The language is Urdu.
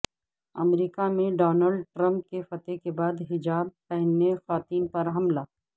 امریکہ میں ڈونالڈ ٹرمپ کی فتح کے بعد حجاب پہنے خواتین پر حملہ